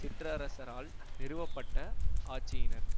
சிற்றரசரால் நிறுவப்பட்ட ஆட்சியினர்